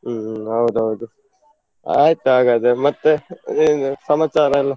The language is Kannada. ಹ್ಮ್ ಹೌದೌದು, ಆಯ್ತಾಗಾದ್ರೆ ಮತ್ತೆ ಏನ್ ಸಮಾಚಾರ ಎಲ್ಲ?